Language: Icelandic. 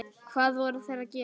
Hvað voru þeir að gera?